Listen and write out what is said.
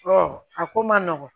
a ko man nɔgɔn